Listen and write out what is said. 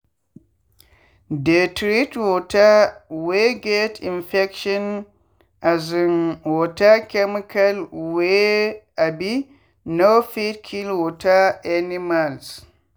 dey treat water wey get infection um with chemical wey um no fit kill water animals.